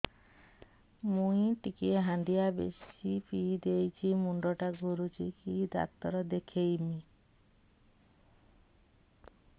ମୁଇ ଟିକେ ହାଣ୍ଡିଆ ବେଶି ପିଇ ଦେଇଛି ମୁଣ୍ଡ ଟା ଘୁରୁଚି କି ଡାକ୍ତର ଦେଖେଇମି